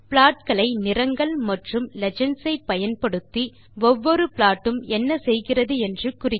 plot களை நிறங்கள் மற்றும் லீஜெண்ட்ஸ் ஐ பயன்படுத்தி ஒவ்வொரு ப்ளாட் உம் என்ன செய்கிறது என்று குறிக்கவும்